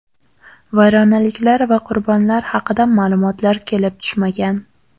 Vayronaliklar va qurbonlar haqida ma’lumotlar kelib tushmagan.